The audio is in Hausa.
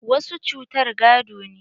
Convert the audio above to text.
Wasu cutar gado ne.